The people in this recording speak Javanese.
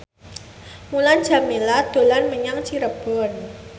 Mulan Jameela dolan menyang Cirebon